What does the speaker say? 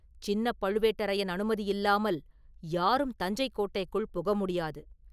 சின்னப் பழுவேட்டரையன் அனுமதி இல்லாமல் யாரும் தஞ்சைக் கோட்டைக்குள் புக முடியாது.